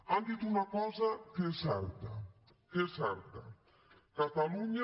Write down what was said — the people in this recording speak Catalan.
han dit una cosa que és certa que és certa catalunya